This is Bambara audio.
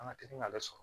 An ka teli k'ale sɔrɔ